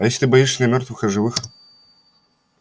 а если ты боишься не мёртвых а живых